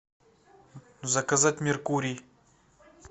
заказать меркурий